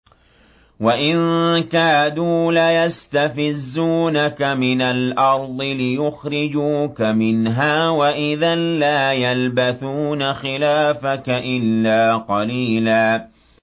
وَإِن كَادُوا لَيَسْتَفِزُّونَكَ مِنَ الْأَرْضِ لِيُخْرِجُوكَ مِنْهَا ۖ وَإِذًا لَّا يَلْبَثُونَ خِلَافَكَ إِلَّا قَلِيلًا